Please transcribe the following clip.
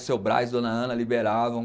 O seu Braz, Dona Ana, liberavam.